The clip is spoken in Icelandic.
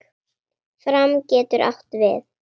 Fram getur átt við